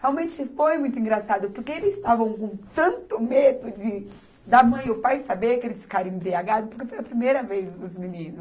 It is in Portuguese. Realmente foi muito engraçado, porque eles estavam com tanto medo de, da a mãe e o pai saber que eles ficaram embriagados, porque foi a primeira vez dos meninos.